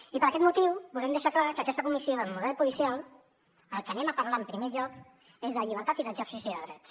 i per aquest motiu volem deixar clar que a aquesta comissió del model policial del que anem a parlar en primer lloc és de llibertat i d’exercici de drets